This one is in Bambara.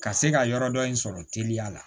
Ka se ka yɔrɔ dɔ in sɔrɔ teliya la